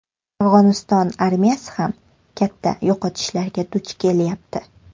Afg‘oniston armiyasi ham katta yo‘qotishlarga duch kelyapti.